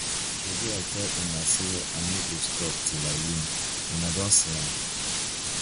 shebi i tell una say i no go stop till i win una don see am